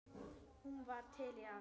Hún var til í allt.